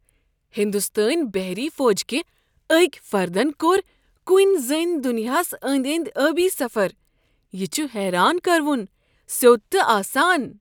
ہنٛدستٲنۍ بہری فوجٕكہِ اكہِ فردن كور کُنی زٔنۍ دُنیاہس أنٛدۍ أنٛدِۍ ٲبی سفر۔ یہِ چھُ حیران کروُن، سیود تہٕ آسان۔